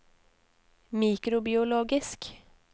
mikrobiologisk